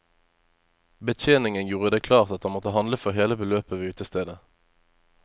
Betjeningen gjorde det klart at han måtte handle for hele beløpet ved utestedet.